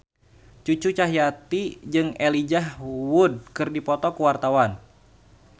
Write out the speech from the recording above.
Cucu Cahyati jeung Elijah Wood keur dipoto ku wartawan